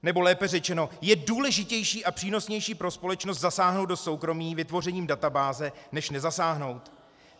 Nebo lépe řečeno, je důležitější a přínosnější pro společnost zasáhnout do soukromí vytvořením databáze než nezasáhnout?